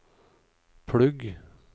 plugg